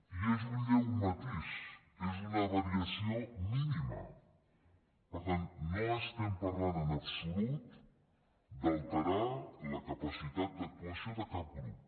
i és un lleu matís és una variació mínima per tant no estem parlant en absolut d’alterar la capacitat d’actuació de cap grup